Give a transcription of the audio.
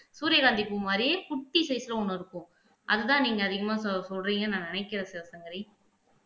சூரியகாந்தி பூ மாதிரி குட்டி சைஸ்ல ஒண்ணு இருக்கும் அதுதான் நீங்க அதிகமா சொ சொல்றீங்கன்னு நான் நினைக்கிறேன் சிவசங்கரி